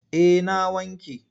Eh na wanke.